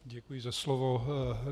Děkuji za slovo.